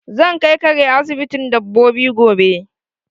Zan kai kare asibitin dabbobi gobe